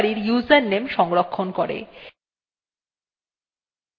এইটি বর্তমানের সক্রিয় ব্যবহারকারীর username সংরক্ষণ করে